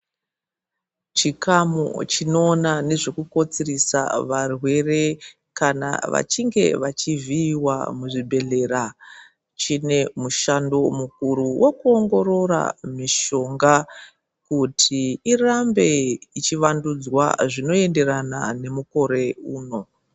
Chikamu chino ona nezveku kotsirisa varwere kana vachinge vachi vhiyiwa mu zvibhedhlera chine mushando mukuru weku ongorora mishonga kuti irambe ichi wandudzwa zvino enderana ne mukore uno.